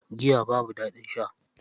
Giya babu daɗin sha.